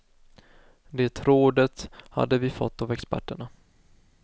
Det rådet hade vi fått av experterna.